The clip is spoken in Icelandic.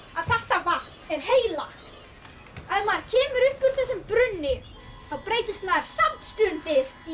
að þetta vatn er heilagt ef maður kemur upp úr þessum brunni þá breytist maður samstundis í